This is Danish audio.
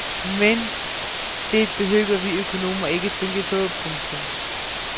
Men det behøver vi økonomer ikke tænke på. punktum